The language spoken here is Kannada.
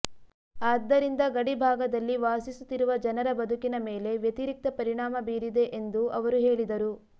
ಆದ್ದರಿಂದ ಗಡಿ ಭಾಗದಲ್ಲಿ ವಾಸಿಸುತ್ತಿರುವ ಜನರ ಬದುಕಿನ ಮೇಲೆ ವ್ಯತಿರಿಕ್ತ ಪರಿಣಾಮ ಬೀರಿದೆ ಎಂದು ಅವರು ಹೇಳಿದರು